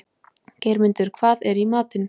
Geirmundur, hvað er í matinn?